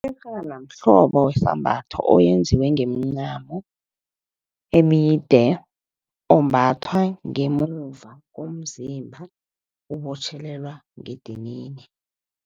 Iyerhana mhlobo wesambatho, owenziwe ngemincamo emide. Ombathwa ngemuva komzimba ubotjhelelwa ngedinini.